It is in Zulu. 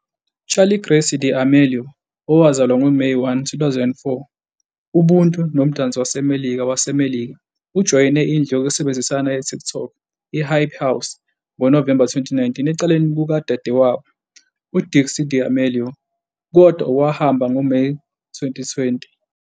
Charli Grace D'Amelio, owazalwa ngoMeyi 1, 2004, ubuntu nomdansi wasemelika waseMelika. Ujoyine indlu yokusebenzisana yeTikTok, iHype House, ngoNovemba 2019 eceleni kukadadewabo, uDixie D'Amelio, kodwa wahamba ngoMeyi 2020.